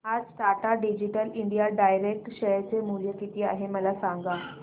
आज Tata digital India direct share चे मूल्य किती आहे मला सांगा